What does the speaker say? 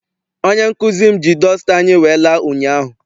Onye nkụzi m ji dọsta anyị wee la ụnyaahụ.